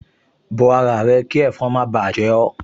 Bo ara rẹ kí ẹ̀fọn má báà jẹ ẹ́